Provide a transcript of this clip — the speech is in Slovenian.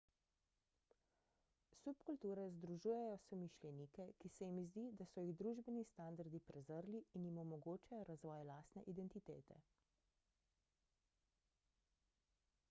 subkulture združujejo somišljenike ki se jim zdi da so jih družbeni standardi prezrli in jim omogočajo razvoj lastne identitete